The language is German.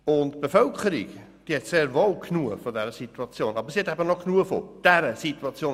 Die Bevölkerung hat sehr wohl genug von dieser Situation, wie wir sie jetzt haben.